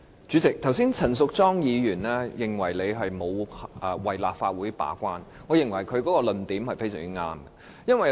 主席，剛才陳淑莊議員說你沒有為立法會把關，我認為她的論點非常正確。